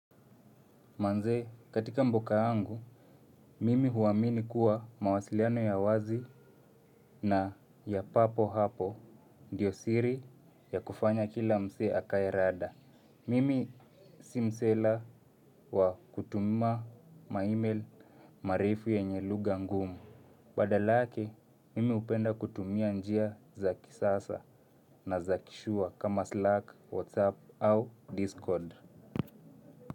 Manze, katika mboka yangu, mimi huwamini kuwa mawasiliano ya wazi na ya papo hapo, ndiyo siri ya kufanya kila msee akae rada. Mimi simusela wa kutuma maimeli marefu yenye luga ngumu. Badala yake, mimi hupenda kutumia njia za kisasa na za kishua kama Slack, WhatsApp au Discord.